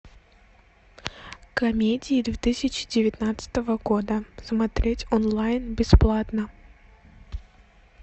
комедии две тысячи девятнадцатого года смотреть онлайн бесплатно